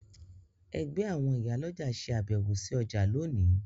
Ẹgbẹ́ àwọn ìyálọ́jà ṣe àbẹ̀wò sí ọjà lónìí